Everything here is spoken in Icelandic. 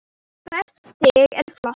Hvert stig er flott.